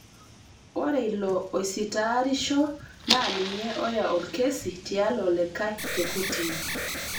Ore ilo oisitaarisho naa ninye oya olkesi tialo olikae te kotini